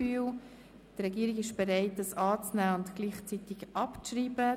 Die Regierung ist bereit, diesen Vorstoss anzunehmen und gleichzeitig abzuschreiben.